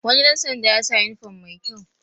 Wani ɗan sanda ya sa yunifom mai kyau